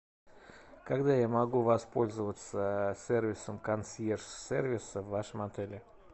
когда я могу воспользоваться сервисом консьерж сервис в вашем отеле